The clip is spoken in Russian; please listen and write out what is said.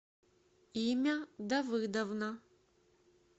имя давыдовна